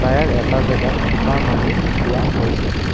Tyre এটা জাগাত থোপা মাৰি থোৱা হৈছে।